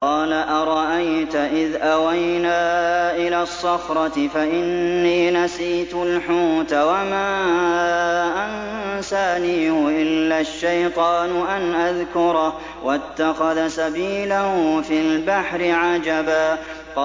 قَالَ أَرَأَيْتَ إِذْ أَوَيْنَا إِلَى الصَّخْرَةِ فَإِنِّي نَسِيتُ الْحُوتَ وَمَا أَنسَانِيهُ إِلَّا الشَّيْطَانُ أَنْ أَذْكُرَهُ ۚ وَاتَّخَذَ سَبِيلَهُ فِي الْبَحْرِ عَجَبًا